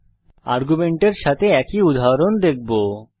এখন আমরা আর্গুমেন্টের সাথে একই উদাহরণ দেখবো